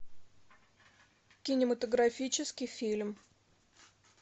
кинематографический фильм